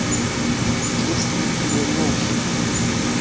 есть ли у тебя мюнхен